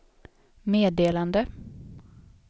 meddelande